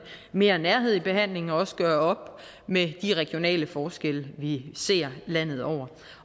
mere nærhed i behandlingen og også gøre op med de regionale forskelle vi ser landet over